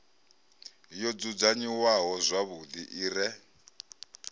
yo dzudzanyiwaho zwavhuḓi i re